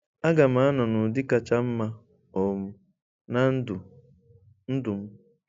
Aga m anọ nụdị kacha mma um na ndụ ndụ m.